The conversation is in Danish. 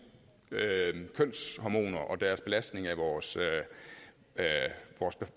kønshormoner og belastningen af vores